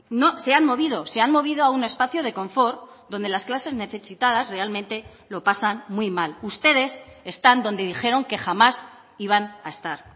no se han movido se han movido a un espacio de confort donde las clases necesitadas realmente lo pasan muy mal ustedes están donde dijeron que jamás iban a estar